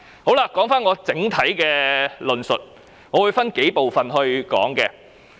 說回我整體的論述，我會分數部分來談論。